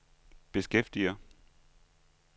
beskæftiger